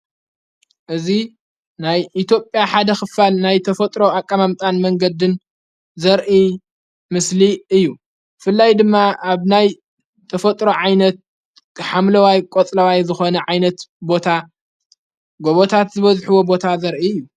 እዙ ናይ ኢትጴያ ሓደ ኽፋል ናይ ተፈጥሮ ኣቃማምጣን መንገድን ዘርኢ ምስሊ እዩ ፍላይ ድማ ኣብ ናይ ተፈጥሮ ዓይነት ሓምለዋይ ቈጽለዋይ ዝኾነ ዓይነት ቦታ ጐቦታት ዝበዝሕቦ ቦታ ዘርኢ እዩ።